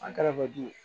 An kɛrɛfɛ